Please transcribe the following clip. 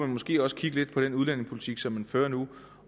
måske også kigge lidt på den udlændingepolitik som vi fører nu